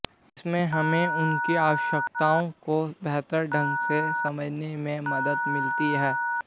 इससे हमें उनकी आवश्यकताओं को बेहतर ढंग से समझने में मदद मिलती है